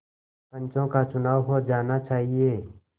पंचों का चुनाव हो जाना चाहिए